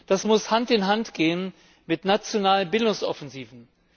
Das muss Hand in Hand gehen mit nationalen Bildungsoffensiven.